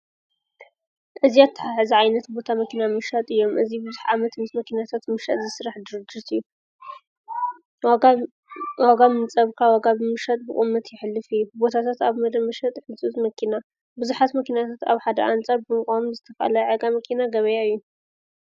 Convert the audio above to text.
እዚ ኣተሓሕዛ ዓይነት ቦታ መኪና ምሻጥ እዮም። እዚ ብዙሕ ዓመት ምስ መኪናታት ምሽጥ ዝስራሕ ድርጅት እዩ። ወጋ ምምፃእካ ወጋ ብምሸጥ ብቑመት የሕልፍ እዩ። ቦታታት ኣብ መደብ መሸጥ ሕፁፅ መኪና ብዙሓት መኪናታት ኣብ ሓደ ኣንፃር ብምቛሚ ዝተፍልያ ዓጋ መኪና ገበያ እዩ።